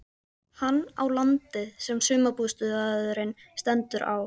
Hann á landið sem sumarbústaðurinn stendur á.